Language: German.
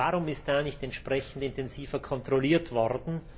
Warum ist da nicht entsprechend intensiver kontrolliert worden?